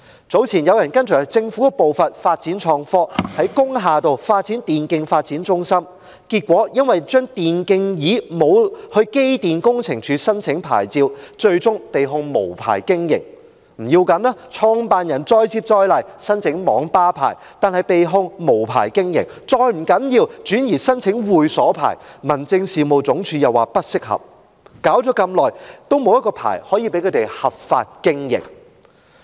早前有人跟隨政府的步伐發展創科，於工業大廈開設電競發展中心，結果因為未有向機電工程署申請電競椅的牌照，被控無牌經營；不要緊，創辦人再接再厲，申請網吧牌照，但仍被控無牌經營；再不要緊，他轉移申請會所牌照，民政事務總署又說不適合，折騰一番後，仍然沒有一個牌照讓他們合法經營。